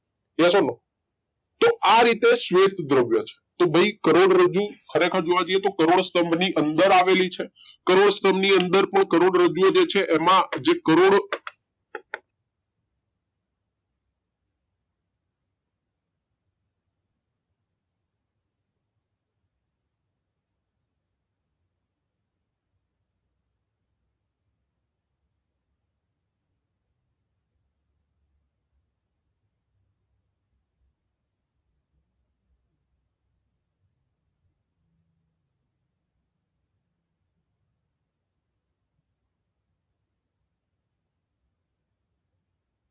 Yes or No તો આ રીતે શ્વેત દ્રવ્ય છે તો ભઈ કરોડરજ્જુ ખરેખર જોવા જઇયે તો કરોડ સ્થંભ ની અંદર આવેલી છે કરોડ સ્થંભ ની અંદર પણ કરોડરજ્જુ ઓ જે છે એમાં જે કરોડ.